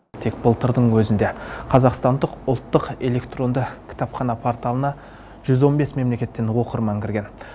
тек былтырдың өзінде қазақстандық ұлттық электронды кітапхана порталына жүз он бес мемлекеттен оқырман кірген